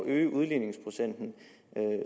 øge udligningsprocenten